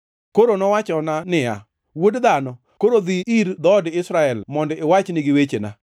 Koro nowachona niya, Wuod dhano, koro dhi ir dhood Israel mondo iwach nigi wechena.